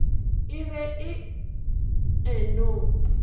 e be e e no